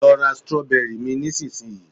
lo ra strawberry mi nisinsinyi